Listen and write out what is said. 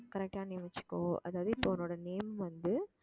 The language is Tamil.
correct ஆ name வச்சுக்கோ அதாவது இப்போ உன்னோட name வந்து